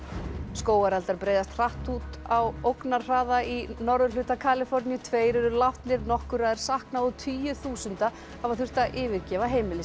skógareldar breiðast út á ógnarhraða í norðurhluta Kaliforníu tveir eru látnir nokkurra er saknað og tugir þúsunda hafa þurft að yfirgefa heimili